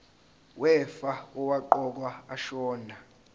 wefa owaqokwa ashona